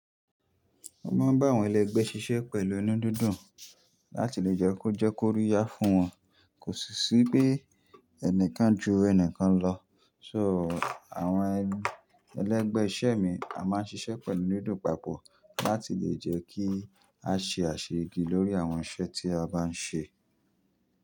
Mó máa ń bá àwọn ẹlẹ́gbẹ̀ ṣiṣẹ́ pẹ̀lú inú dúndún láti lè jẹ́ kó jẹ́ kó ri ya fún wọn, kò sì sí pé ẹnìkan ju ẹnìkan lọ. So, àwọn ẹlẹ́gbẹ̀ iṣẹ́ mi a máa ń ṣiṣẹ́ pẹ̀lú inú dùndun papọ̀ láti lè jẹ́ kí a ṣe àṣẹ igi lórí àwọn iṣẹ́ tí a bá ń ṣe.